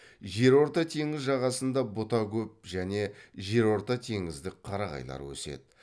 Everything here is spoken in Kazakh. жерорта теңіз жағасында бұта көп және жерортатеңіздік қарағайлар өседі